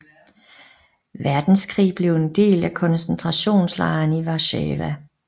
Verdenskrig blev en del af koncentrationslejren i Warszawa